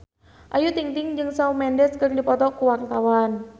Ayu Ting-ting jeung Shawn Mendes keur dipoto ku wartawan